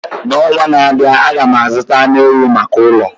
N'ọnwa na-abịa, aga m azụta anụ ewu maka ụlọ